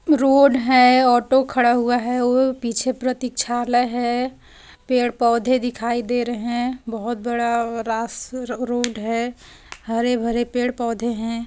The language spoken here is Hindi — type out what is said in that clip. रोड है ऑटो खड़ा हुआ है वह पीछे प्रतीक्षालय है पेड़ पौधे दिखाई दे रहे है बहुत बड़ा औ रास रोड है हरे भरे पेड़ पौधे हैं।